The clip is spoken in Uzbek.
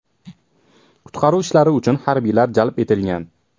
Qutqaruv ishlari uchun harbiylar jalb etilgan.